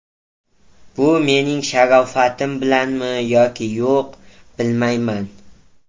Bu mening sharofatim bilanmi yoki yo‘q, bilmayman.